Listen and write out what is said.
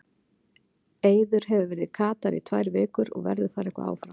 Eiður hefur verið í Katar í tvær vikur og verður eitthvað áfram þar.